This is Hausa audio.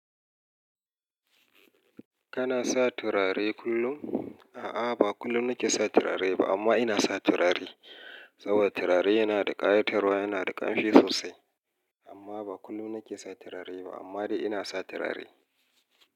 Kana sa turare kullum? A'a, ba kullum nake sa turare ba amma ina sa turare saboda turare yana da ƙayatarwa, yana da ƙamshi sosai amma ba kullum nake sa turare ba amma dai inasa turare.